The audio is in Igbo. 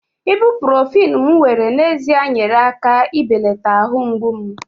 ibuprofen m were n'ezie nyeere aka ibelata ahụ mgbu m